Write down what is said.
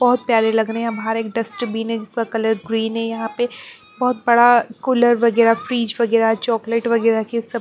बहुत प्यारे लग रहे हैं बाहर एक डस्टबीन है जिसका कलर ग्रीन है यहाँ पे बहुत बड़ा कूलर वगैरह फ्रीज वगैरह चॉकलेट वगैरह के--